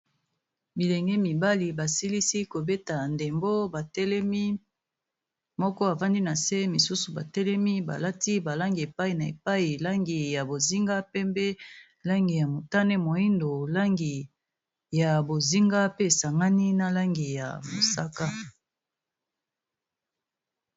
bilenge mibali basilisi kobeta ndembo batelemi moko avandi na se misusu batelemi balati balangi epai na epai langi ya bozinga pembe langi ya motane moindo langi ya bozinga pe esangani na langi ya mosaka